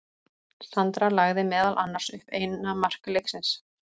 Sandra lagði meðal annars upp eina mark leiksins.